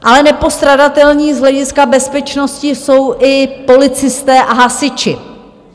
Ale nepostradatelní z hlediska bezpečnosti jsou i policisté a hasiči.